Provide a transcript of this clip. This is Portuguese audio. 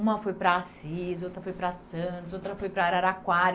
Uma foi para Assis, outra foi para Santos, outra foi para Araraquara.